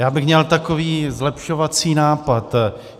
Já bych měl takový zlepšovací nápad.